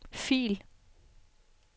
fil